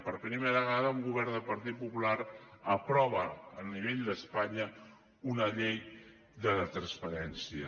per primera vegada un govern del partit popular aprova a nivell d’espanya una llei de la transparència